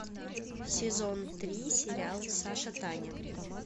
сезон три сериал саша таня